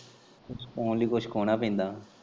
ਕੁੱਛ ਪਾਣ ਲਈ ਕੁੱਛ ਖੋਣਾ ਪੈਂਦਾ।